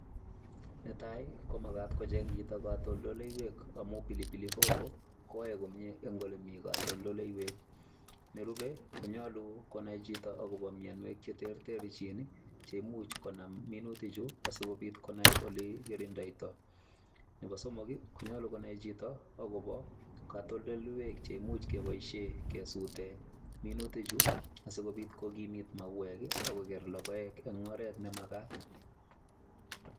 Netai komagat kocheng chito katoltoleiwek amun pilipili hoho koyoe komye en ole mi katoltoleiwek, nerube konyolu konai chito agobo mianwek che terterchin che imuch konam minutichu asikobit konai ole kirindoito. Nebo somok konyolu konai chito agobo katoltoleiywek che imuch keboisien kesuuten minutichu asikobit kogimit mauek ak koi logoek en oret nemagat.